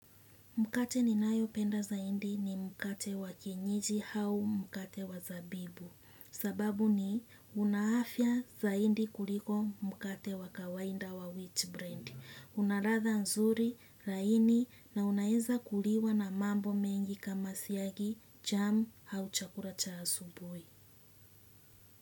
Mkate ninayopenda zaidi ni mkate wa kienyiji au mkate wa zabibu. Sababu ni unaafya zaindi kuliko mkate wa kawainda wa wheat brand. Unaratha nzuri, laini na unaeza kuliwa na mambo mengi kama siyagi, jamu au chakura chasubui.